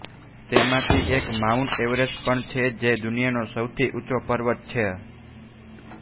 તેમાંથી એક Mount Everest પણ છે જે દુનિયાનો સૌથી ઊંચો પર્વત છે